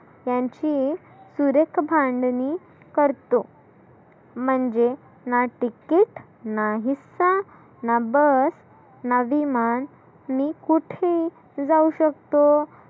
त्याची सुरेख मांडनी करतो. म्हणजे ना टिकीत नाहीत ना बस नादी मान मी कुठी जाऊ शकतो.